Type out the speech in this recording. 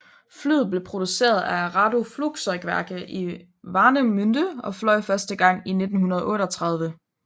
Flyet blev produceret af Arado Flugzeugwerke i Warnemünde og fløj første gang i 1938